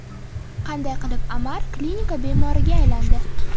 Qanday qilib Amar klinika bemoriga aylandi?